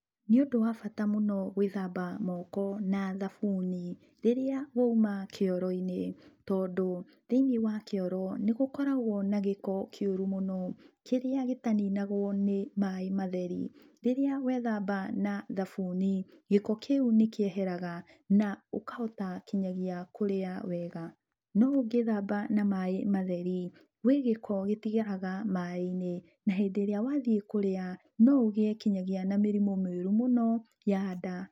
Nĩ ũndũ wa bata mũno gwĩthamba moko na thabuni rĩrĩa wauma kĩoro-inĩ tondũ thĩiniĩ wa kĩoro nĩgũkoragwo na gĩko kĩũru mũno, kĩrĩa gĩtaninagwo nĩ maĩ matheri. Rĩrĩa wethamba na thabuni gĩko kĩu nĩkĩeheraga na ũkahota nginyagia kũrĩa wega. No ũngĩthamba na maĩ matheri gwĩ gĩko gĩtigaraga maĩ-inĩ na hĩndĩ ĩrĩa wathiĩ kũrĩa noũgĩe nginyagia mĩrĩmũ mĩũru mũno ya nda.